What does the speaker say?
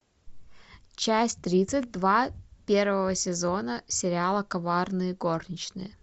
часть тридцать два первого сезона сериала коварные горничные